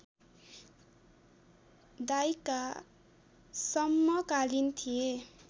दाइका समकालीन थिए